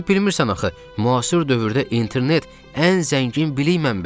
Sən bilmirsən axı, müasir dövrdə internet ən zəngin bilik mənbəyidir.